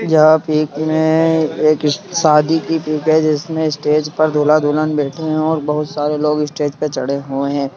यह पिक में एक शादी की पिक है जिसमे स्टेज पर दूल्हा दुल्हन बैठे हैं और बहुत सारे लोग स्टेज पर चढ़े हुए हैं |